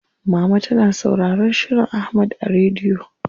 Mama tana sauraron shirin Ahmad a rediyo.